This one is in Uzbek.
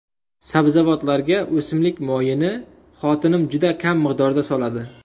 Sabzavotlarga o‘simlik moyini xotinim juda kam miqdorda soladi.